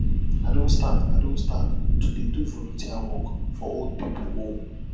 i don start i don start to dey do volunteer work for old pipu home